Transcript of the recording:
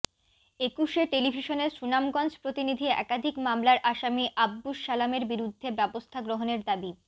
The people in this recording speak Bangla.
একুশে টেলিভিশনের সুনামগঞ্জ প্রতিনিধি একাধিক মামলার আসামী আব্দুস সালামের বিরুদ্ধে ব্যবস্থা গ্রহনের দাবী